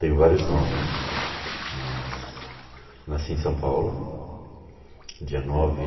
Tenho vários nomes, mas nasci em São Paulo, dia nove